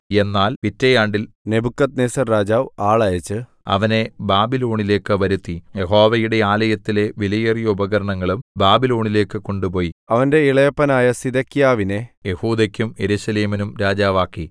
എന്നാൽ പിറ്റേയാണ്ടിൽ നെബൂഖദ്നേസർ രാജാവ് ആളയച്ച് അവനെ ബാബിലോണിലേക്ക് വരുത്തി യഹോവയുടെ ആലയത്തിലെ വിലയേറിയ ഉപകരണങ്ങളും ബാബിലോണിലേക്ക് കൊണ്ടുപോയി അവന്റെ ഇളയപ്പനായ സിദെക്കീയാവിനെ യെഹൂദെക്കും യെരൂശലേമിനും രാജാവാക്കി